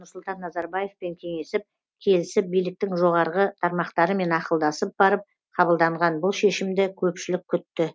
нұрсұлтан назарбаевпен кеңесіп келісіп биліктің жоғарғы тармақтарымен ақылдасып барып қабылданған бұл шешімді көпшілік күтті